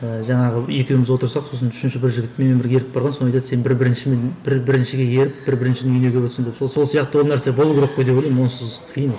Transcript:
ыыы жаңағы екеуміз отырсақ сосын үшінші бір жігіт менімен бірге еріп барған сол айтады сен бір біріншімен бір біріншіге еріп бір біріншінің үйіне келіп отырсың деп сол сияқты ол нәрсе болу керек деп ойлаймын онсыз қиын ол